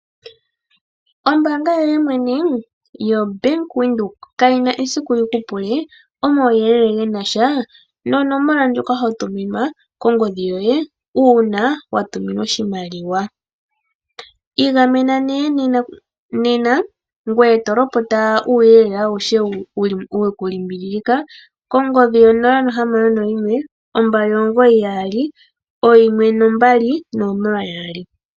Oombaanga yoye mwene yoBank Windhoek kayi na siku yi kupule omawuyelele gena sha nonomola ndjoka ho tuminwa kongodhi yoye uuna watuminwa oshimaliwa. Iigamena nee nena ngoye tolopota uuyelele awushe wekulimbililika kongodhi yo 0612991200.